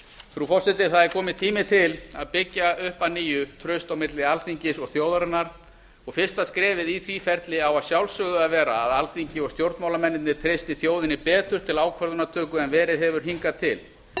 frú forseti það er kominn tími til að byggja upp að nýju traust á milli alþingis og þjóðarinnar og fyrsta skrefið í því ferli á að sjálfsögðu að vera að alþingi og stjórnmálamennirnir treysti þjóðinni betur til ákvörðunartöku en verið hefur hingað til